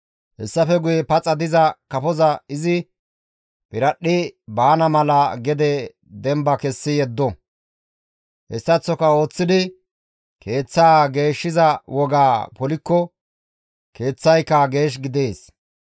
Hessafe guye paxa diza kafoza izi piradhdhi baana mala gede demba kessi yeddo; hessaththo ooththidi keeththaa geeshshiza wogaa polikko keeththayka geesh gidees.»